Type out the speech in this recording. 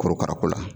Korokara ko la